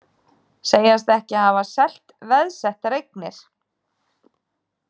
Segjast ekki hafa selt veðsettar eignir